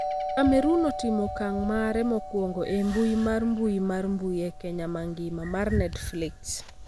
Cameroon otimo okang' mare mokwongo e mbui mar mbui mar mbui e piny mangima mar Netflix